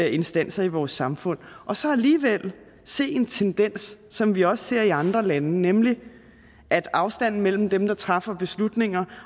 instanser i vores samfund og så alligevel se en tendens som vi også ser i andre lande nemlig at afstanden mellem dem der træffer beslutninger